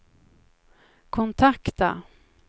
kontakta